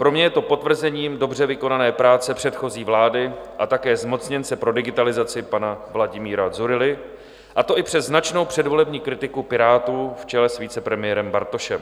Pro mě je to potvrzením dobře vykonané práce předchozí vlády a také zmocněnce pro digitalizaci pana Vladimíra Dzurilly, a to i přes značnou předvolební kritiku Pirátů v čele s vicepremiérem Bartošem.